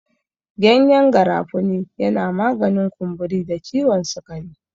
Gyanyen garafuni yana maganin kumburi da ciwon sikari.